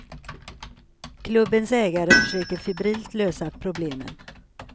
Klubbens ägare försöker febrilt lösa problemen.